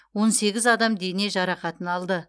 он сегіз адам дене жарақатын алды